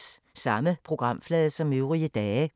Samme programflade som øvrige dage